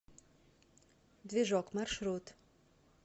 движок маршрут